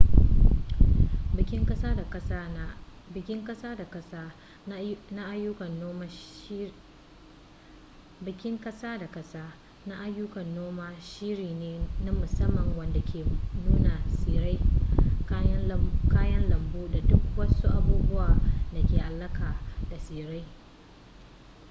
bikin kasa-da-kasa na ayyukan noma shiri ne na musamman wanda ke nuna tsirrai kayan lambu da duk wasu abubuwa da ke alaka da tsirrai